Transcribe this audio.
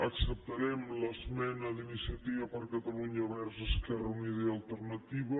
acceptarem l’esmena d’iniciativa per catalunya verds esquerra unida i alternativa